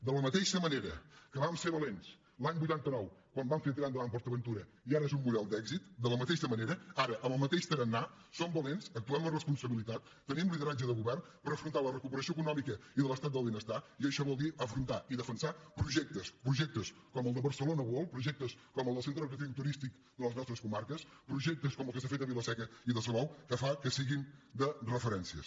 de la mateixa manera que vam ser valents l’any vuitanta nou quan vam fer tirar endavant port aventura i ara és un model d’èxit de la mateixa manera ara amb el mateix tarannà som valents actuem amb responsabilitat tenim lideratge de govern per afrontar la recuperació econòmica i de l’estat del benestar i això vol dir afrontar i defensar projectes projectes com el de barcelona world projectes com el del centre recreatiu i turístic de les nostres comarques projectes com el que s’ha fet a vila seca i salou que fa que siguin de referència